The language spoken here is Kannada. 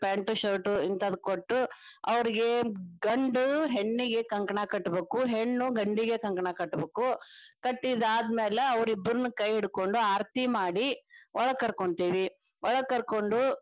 Pant shirt ಹಿಂತಾದ ಕೊಟ್ಟು ಅವ್ರಿಗೆ ಗಂಡ ಹೆಣ್ಣಿಗೆ ಕಂಕಣಾ ಕಟ್ಟಬೇಕು ಹೆಣ್ಣು ಗಂಡಿಗೆ ಕಂಕಣಾ ಕಟ್ಟಬೇಕು ಕಟ್ಟಿದ ಅದ್ಮ್ಯಾಲ ಅವ್ರ ಇಬ್ರುನ್ನ ಕೈ ಹಿಡ್ಕೊಂಡ ಆರತಿ ಮಾಡಿ ಒಳಗ ಕರ್ಕೊಂತೇವಿ ಒಳಗ ಕರಕೊಂಡು.